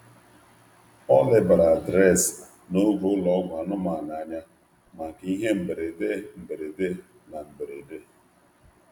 Ọ lebara adreesị na oge ụlọ ọgwụ anụmanụ anya maka ihe mberede na mberede.